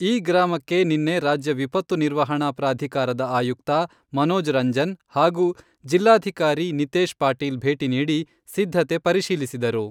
ಈ ಗ್ರಾಮಕ್ಕೆ ನಿನ್ನೆ ರಾಜ್ಯ ವಿಪತ್ತು ನಿರ್ವಹಣಾ ಪ್ರಾಧಿಕಾರದ ಆಯುಕ್ತ ಮನೋಜ ರಂಜನ್ ಹಾಗೂ ಜಿಲ್ಲಾಧಿಕಾರಿ ನಿತೇಶ ಪಾಟೀಲ ಭೇಟಿ ನೀಡಿ, ಸಿದ್ಧತೆ ಪರಶೀಲಿಸಿದರು.